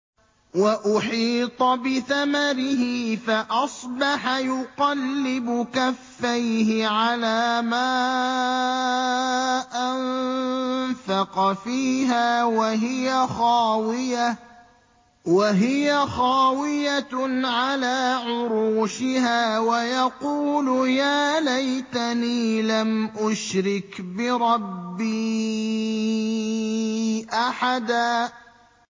وَأُحِيطَ بِثَمَرِهِ فَأَصْبَحَ يُقَلِّبُ كَفَّيْهِ عَلَىٰ مَا أَنفَقَ فِيهَا وَهِيَ خَاوِيَةٌ عَلَىٰ عُرُوشِهَا وَيَقُولُ يَا لَيْتَنِي لَمْ أُشْرِكْ بِرَبِّي أَحَدًا